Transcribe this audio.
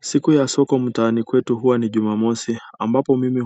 Siku ya soko mtaani kwetu huwa ni Jumamosi ambapo mimi